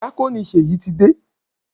Díákónì Ṣèyí ti dé.